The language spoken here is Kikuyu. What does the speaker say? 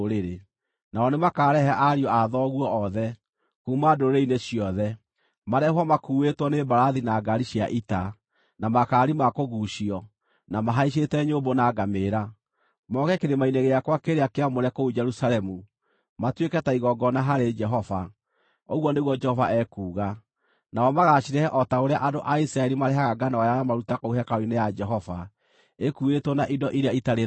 Nao nĩmakarehe ariũ a thoguo othe, kuuma ndũrĩrĩ-inĩ ciothe, marehwo makuuĩtwo nĩ mbarathi, na ngaari cia ita, na makaari ma kũguucio, na mahaicĩte nyũmbũ na ngamĩĩra, moke kĩrĩma-inĩ gĩakwa kĩrĩa kĩamũre kũu Jerusalemu, matuĩke ta igongona harĩ Jehova,” ũguo nĩguo Jehova ekuuga. “Nao magaacirehe o ta ũrĩa andũ a Isiraeli marehaga ngano yao ya maruta kũu hekarũ-inĩ ya Jehova ĩkuuĩtwo na indo iria itarĩ thaahu.